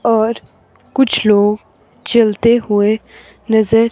और कुछ लोग चलते हुए नजर--